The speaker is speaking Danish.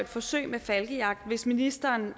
forsøg med falkejagt hvis ministeren